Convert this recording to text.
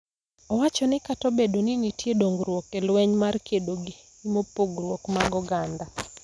Owacho ni kata obedo ni nitie dongruok e lweny mar kedo gi pogruok mag oganda,